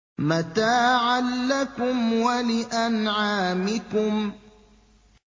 مَّتَاعًا لَّكُمْ وَلِأَنْعَامِكُمْ